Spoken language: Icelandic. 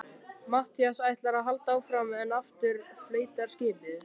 Matthías ætlar að halda áfram en aftur flautar skipið.